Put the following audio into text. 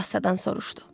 O astadan soruşdu.